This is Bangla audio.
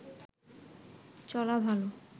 চলা ভাল